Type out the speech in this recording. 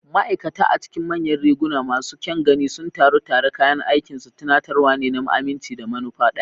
Ma'aikata a cikin manyan riguna masu kyan gani sun taru tare, kayan aikinsu tunatarwa ne na aminci da manufa ɗaya.